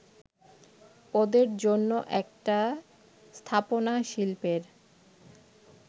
ওদের জন্য একটা স্থাপনাশিল্পের